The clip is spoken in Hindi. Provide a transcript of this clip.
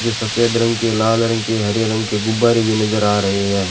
जे सफेद रंग के लाल रंग के हरे रंग के गुब्बारे भी नजर आ रहे हैं।